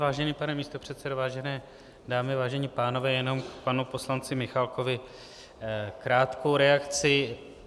Vážený pane místopředsedo, vážené dámy, vážení pánové, jenom k panu poslanci Michálkovi krátkou reakci.